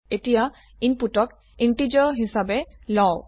এতিয়া ইনপুটক ইন্টিজাৰ হিসাবে লও